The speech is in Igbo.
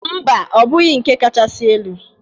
Mba, ọ bụghị nke kachasị elu.